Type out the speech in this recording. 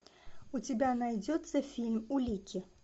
у тебя найдется фильм улики